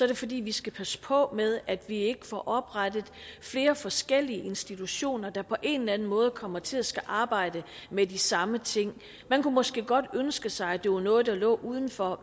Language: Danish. det fordi vi skal passe på med at vi ikke får oprettet flere forskellige institutioner der på en eller anden måde kommer til at skulle arbejde med de samme ting man kunne måske godt ønske sig at det var noget der lå uden for